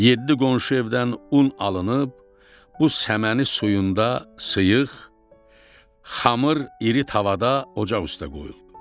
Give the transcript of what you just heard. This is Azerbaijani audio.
Yeddi qonşu evdən un alınıb, bu səməni suyunda sıyıq, xamır iri tavada ocaq üstə qoyuldu.